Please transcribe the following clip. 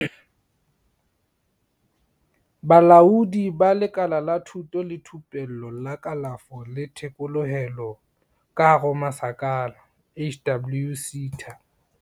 Bolaodi ba Lekala la Thuto le Thupello la Kalafo le Thekolohelo, HWSETA.